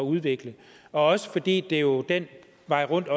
udvikle og også fordi det jo den vej rundt